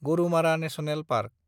Gorumara national park